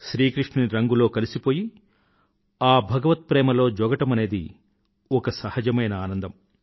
శ్రీ కృష్ణుని రంగులో కలిసిపోయి ఆ భగవత్ ప్రేమలో జోగడమనేది ఒక సహజమైన ఆనందం